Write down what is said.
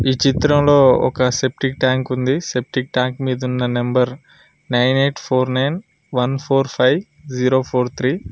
ఈ చిత్రంలో ఒక సెప్టిక్ ట్యాంక్ ఉంది సెప్టిక్ ట్యాంక్ మీదున్న number nine eight four nine one four five zero four three .